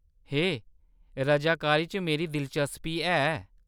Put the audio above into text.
हे, रजाकारी च मेरी दिलचस्पी ऐ।